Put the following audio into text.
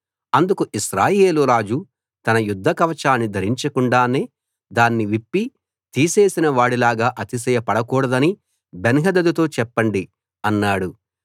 అందుకు ఇశ్రాయేలు రాజు తన యుద్ధ కవచాన్ని ధరించకుండానే దాన్ని విప్పి తీసేసిన వాడిలాగా అతిశయపడకూడదని బెన్హదదుతో చెప్పండి అన్నాడు